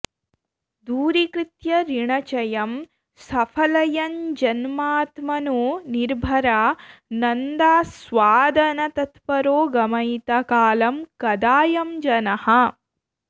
दूरीकृत्य ऋणचयं सफलयन्जन्मात्मनो निर्भरा नन्दास्वादनतत्परो गमयिता कालं कदायं जनः